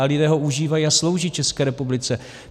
A lidé ho užívají a slouží České republice.